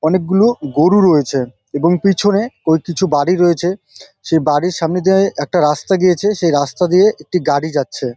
অনেক গুলো গরু রয়েছে এবং পিছনে ওই কিছু বাড়ি রয়েছে। সেই বাড়ির সামনে দিয়ে একটা রাস্তা গিয়েছে সেই দিয়ে রাস্তা দিয়ে একটি গাড়ি যাচ্ছে ।